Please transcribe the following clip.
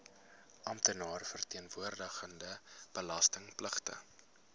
amptenaar verteenwoordigende belastingpligtige